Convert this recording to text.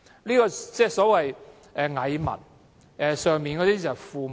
這是所謂"蟻民"與父母官的關係。